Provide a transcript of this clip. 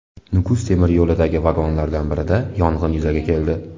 Nukus temir yo‘lidagi vagonlardan birida yong‘in yuzaga keldi.